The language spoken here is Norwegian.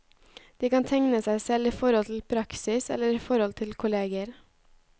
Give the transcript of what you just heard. De kan tegne seg selv i forhold til praksis eller i forhold til kolleger.